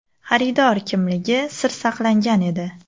Xaridor kimligi sir saqlangan edi.